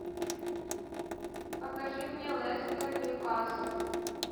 покажи мне лестер ньюкасл